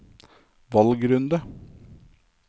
valgrunde